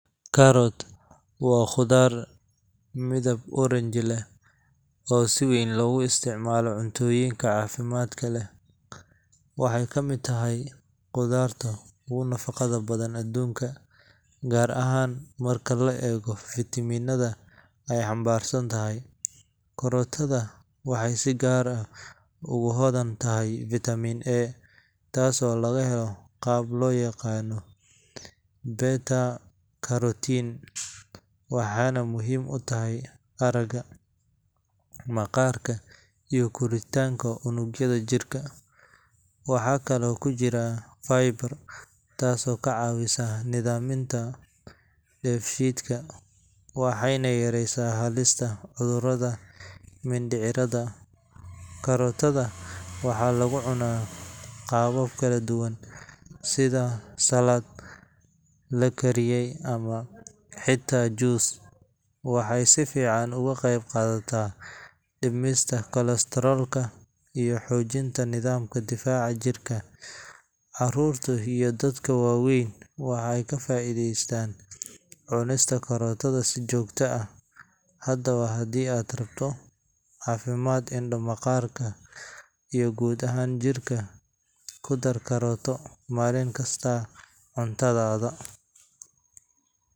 Carrot waa khudaar midab oranji leh oo si weyn loogu isticmaalo cunnooyinka caafimaadka leh. Waxay ka mid tahay khudaarta ugu nafaqo badan aduunka, gaar ahaan marka la eego fitamiinada ay xambaarsan tahay. Karootada waxay si gaar ah ugu hodan tahay Vitamin A, taasoo laga helo qaab loo yaqaan beta-carotene, waxaana muhiim u tahay aragga, maqaarka, iyo koritaanka unugyada jirka. Waxaa kaloo ku jira fiber, taasoo ka caawisa nidaaminta dheefshiidka waxayna yareysaa halista cudurrada mindhicirrada. Karootada waxaa lagu cunaa qaabab kala duwan sida salad, la kariyo, ama xitaa juice. Waxay si fiican uga qeyb qaadataa dhimista kolestaroolka iyo xoojinta nidaamka difaaca jirka. Carruurta iyo dadka waaweynba waxay ka faa'iidaystaan cunista karootada si joogto ah. Haddaba, haddii aad rabto caafimaad indho, maqaarka iyo guud ahaan jirka, ku dar karootada maalin kasta cuntadaada.